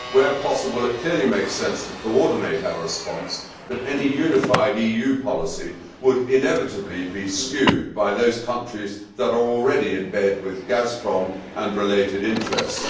Where possible it clearly makes sense to coordinate our response, but any unified EU policy would inevitably be skewed by those countries that are already in bed with Gazprom and related interests.